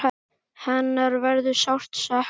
Hennar verður sárt saknað.